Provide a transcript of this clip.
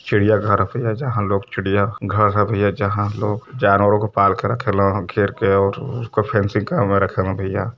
चिड़िया घर ह भईया जहाँं लोग चिड़िया घर ह भईया जहाँ लोग जानवरों को पाल के घेर के और उसको फैंसी घर में रखे लं भईया।